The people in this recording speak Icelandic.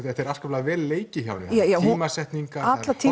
þetta er afskaplega vel leikið hjá henni tímasetningar